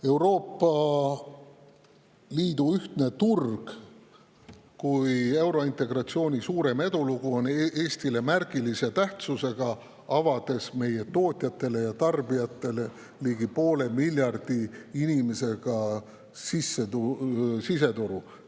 Euroopa Liidu ühtne turg kui eurointegratsiooni suurim edulugu on Eestile märgilise tähtsusega, sest meie tootjatele ja tarbijatele on avatud ligi poole miljardi inimesega siseturg.